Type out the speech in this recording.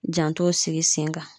Jantow sigi sen kan